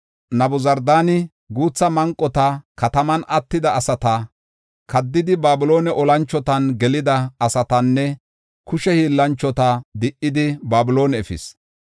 Nabuzardaani guutha manqota, kataman attida asata, kaddidi Babiloone olanchotan gelida asatanne kushe hiillanchota di77idi Babiloone efis.